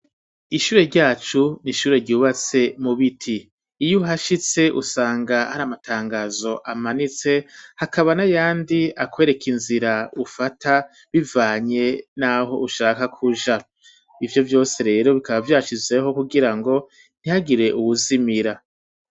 Ishure ryacu n'ishure ryubatse mu biti iyo uhashitse usanga hari amatangazo amanitse hakaba n'ayandi akwereka inzira ufata bivanye naho ushaka kuja ivyo vyose rero bikaba vyashizweho kugirango ntihagire uwuzimira.